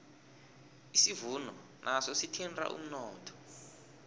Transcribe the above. isivuno naso sithinta umnotho